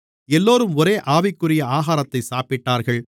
எல்லோரும் ஒரே ஆவிக்குரிய ஆகாரத்தைச் சாப்பிட்டார்கள்